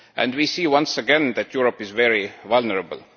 We see once again that Europe is very vulnerable.